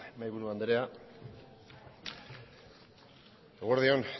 mahaiburu andrea eguerdi on